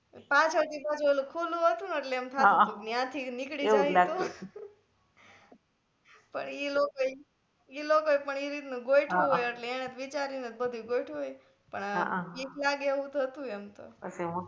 પાછળ થી તો ઓલુ ખુલ્લુ હતુ કે એમ થાતુ કે યા થી નીકળી જાઈ તો પણ ઈ લોકો એ ઈ લોકો એ પણ ઈ રીત નું ગોયઠવુ હોય એટલે એને વિચારી ને જ બધુ ગોયઠવુ હોય પણ બીક લાગે એવુ તો હતુ એમ તો